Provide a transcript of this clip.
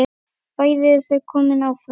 Bæði eru þau komin áfram.